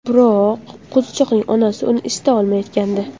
Biroq qo‘zichoqning onasi uni isita olmayotgandi.